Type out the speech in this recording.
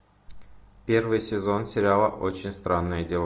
первый сезон сериала очень странные дела